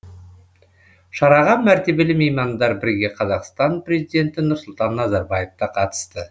шараға мәртебелі меймандар бірге қазақстан президенті нұрсұлтан назарбаев та қатысты